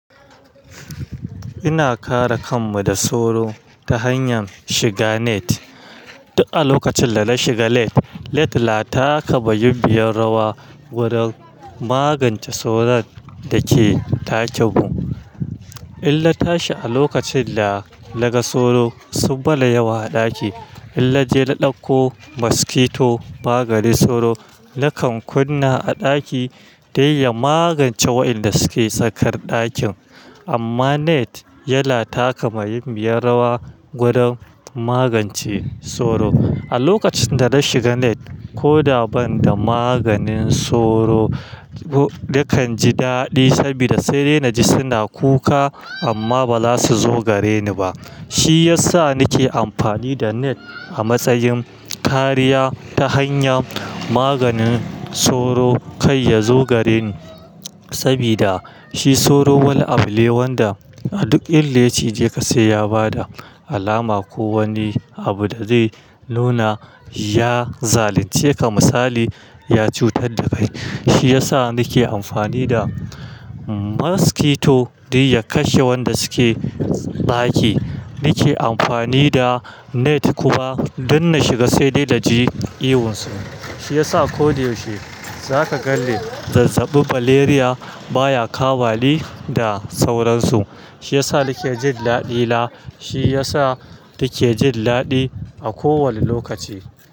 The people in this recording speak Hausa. Muna kare kanmu da sauro ta hanyar shiga net. Duk a lokacin da na shiga net din tana taka muhimmiyar rawa wajen magance sauron da ke dakin mu. Idan na tashi a lokacin da naga sauro sun mana yawa a ɗaki. Idan naje na ɗauko mosquito maganin sauro, nakan kunna a ɗaki dan ya magance waɗanda suke tsakar ɗakin. Amma net yana taka muhimmiyar rawa wajen magance sauro. A lokacin da na shiga net ko da ban da maganin sauro, nakan ji daɗi saboda sai dai na ji suna kuka amma ba za su zo gareni ba. Shi ya sa nake amfani da net a matsayin kariya ta hanyar maganin sauro kafin ya zo gareni saboda shi sauro wani abu ne wanda a duk inda ya cije sai ya bada alama ko wani abu da zai nuna ya zalunceka misali ya cutar da kai. Shi ya sa nake amfani da mosquito domin ya kashe waɗanda suke ɗaki. Nake amfani da net kuma don na shiga sai dai naji ihun su. Shi ya sa ko da yaushe za ka gan ni zazzabi malaria baya kamani da sauransu. Shi ya sa nake jin daɗi na. Shi ya sa nake jin daɗi a kowanne lokaci.